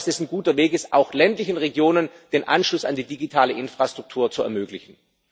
Ich glaube, das ist ein guter Weg, um auch ländlichen Regionen den Anschluss an die digitale Infrastruktur zu ermöglichen.